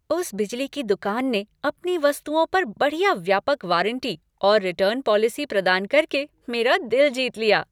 उस बिजली की दुकान ने अपनी वस्तुओं पर बढ़िया व्यापक वारंटी और रिटर्न पॉलिसी प्रदान कर के मेरा दिल जीत लिया।